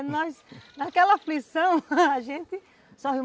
E nós, naquela aflição, a gente só riu.